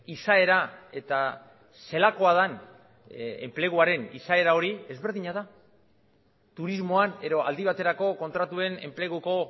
izaera eta zelakoa den enpleguaren izaera hori ezberdina da turismoan edo aldi baterako kontratuen enpleguko